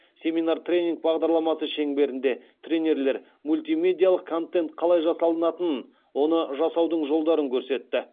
семинар тренинг бағдарламасы шеңберінде тренерлер мультимедиалық контент қалай жасалатынын оны жасаудың жолдарын көрсетті